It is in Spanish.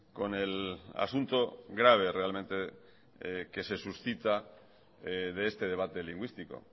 con el asunto grave realmente que se suscita de este debate lingüístico